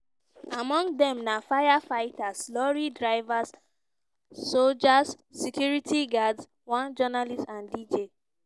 among dem na firefighters lorry drivers soldiers security guards one journalist and dj.